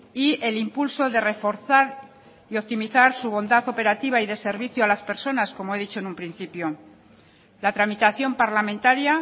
y el impulso de reforzar y optimizar su bondad operativa y de servicio a las personas como he dicho en un principio la tramitación parlamentaria